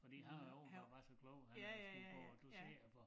Fordi han jo åbenbart var så klog han han skulle gå og dosere for